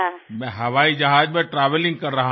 আমি আকাশপথে যাত্রায় ব্যস্ত থাকব